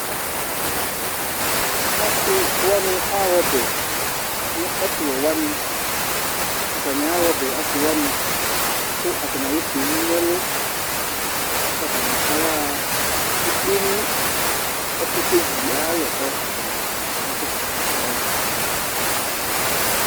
Asiwaŋi aha ɔbɛ ŋu ɛtuwɛwaŋi Ataŋi aha ɔbɛ, asiwaŋi Ataŋi alu kpolu ŋu ɛlu Ataŋi ayaha ekpeŋu ɛkutɛviɛ ayi alɔ kʋ ataŋi asɛsɛ kʋ ayaha